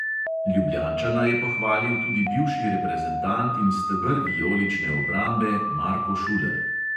Ljubljančana je pohvalil tudi bivši reprezentant in steber vijolične obrambe marko šuler.